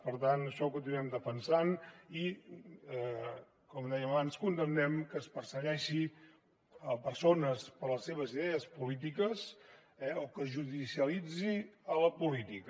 per tant això ho continuarem defensant i com dèiem abans condemnem que es persegueixin persones per les seves idees polítiques eh o que es judicialitzi la política